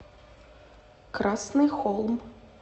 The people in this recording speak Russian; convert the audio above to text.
красный холм